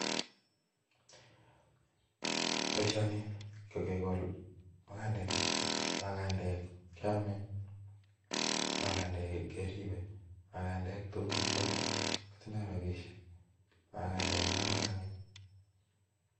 Boisioni ko kekol magandeek, magandeek keyame, magandeek keribe, magandeek tuun kakiyalda kotindaa rapisheek, magandeek ko kororoneen.